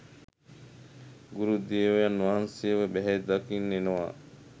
ගුරුදේවයන් වහන්සේව බැහැදකින්න එනවා